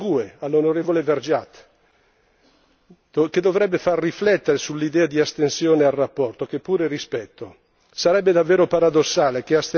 Ma per questo mi rivolgo alla GUE, all'onorevole Vergiat, che dovrebbe riflettere sull'idea di astensione dal voto sulla relazione, che pure rispetto.